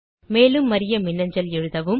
மேலும் அறிய மின்னஞ்சல் எழுதவும்